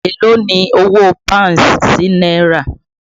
Èló ni owó Pọ́ùn sí náírà?